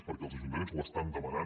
perquè els ajuntaments ho estan demanant